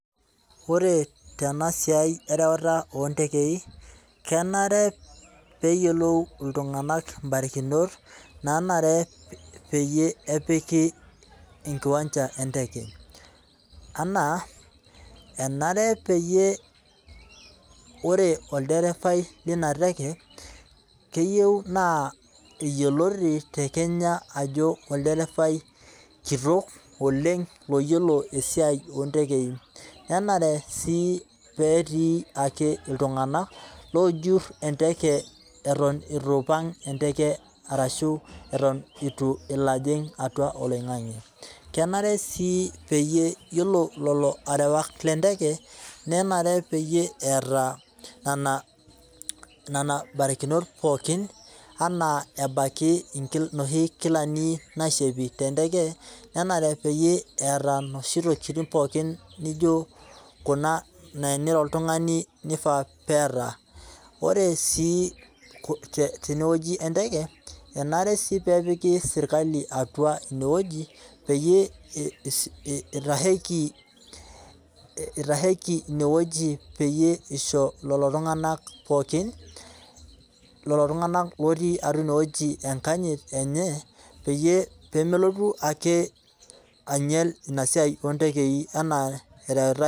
Ore teinasiai erewata ontekei ,kenare peyie eyiolou iltunganak imbarikinot naanare peyie epiki enkiwanja enteke ,anaa enare peyie ore olderefai linateke keyieu naa yioloti tekenya ajo olderefai kitok oleng iyiolo esiai ontekei ,nenare sii netii ake iltunganak loojur enteke eton eitu eping enteke orashua eton eitu elo ejing atua oloingange ,kenare sii naa yiolo lelo arewak lenteke nanare peyie eeta nena barikinot pookin ,ebaikai enaa noshi kilani naishopi tenteke nenare neeta noshi kulie tokiting naijo teniro oltungani nifaa pee eeta. ore sii teneweji enteke, enare sii pee epiki serkali atua ineweji peyie eitasheki ineweji pieyie eisho lilo tunganak pookin otii atua ineweji enkanyit enye peyie melotu eke einyel inasaai oontekei anaa ereutae .